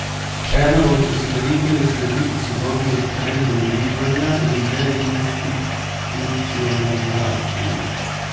Ena od usmeritev je slediti sodobnim trendom bivanja in deinstitucionalizaciji.